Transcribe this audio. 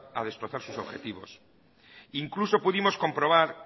a destrozar sus objetivos incluso pudimos comprobar